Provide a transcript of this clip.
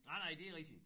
Nej nej det er rigtigt